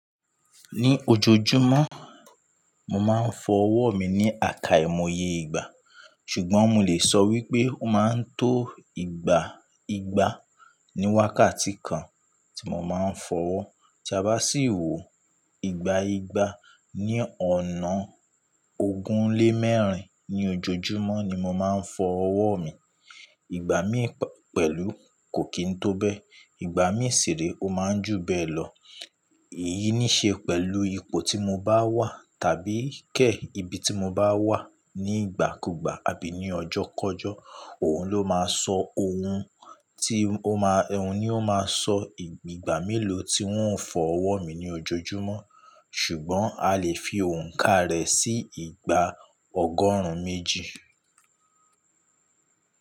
Ní ojoojúmọ́, mo máa ń fọ ọwọ́ mi ní àká ìmoye ìgbà, ṣùgbọ́n mo lè sọ wípé ó máa ń tó ìgbà ìgbà ní wákàtí kan tí mo máa ń fọ ọwọ́. Tí a bá sì wò ìgbà ìgbà, ní ọ̀nà ogún lé mẹ́rin ní ojoojúmọ́ ni mo máa ń fọ ọwọ́ mi. Ìgbà mí pẹ̀lú kò kí ń tó bẹ́, ìgbà mí ṣiré, ó máa ń jù bẹ́ẹ̀ lọ. Èyí ní í ṣe pẹ̀lú ipò tí mo bá wà, tàbí Kẹ̀ ìbí tí mo bá wà. Ní ìgbàkúgbà àbí ní ọjọ́kọjọ́, òun ló máa sọ ohun tí ó máa, òun ni ó máa sọ ìgbà mélòó tí ń fọ ọwọ́ mi ní ojoojúmọ́. Ṣùgbọ́n a lè fi òǹkà rẹ̀ sí ìgbà ọgọ́rùn-ún méjì.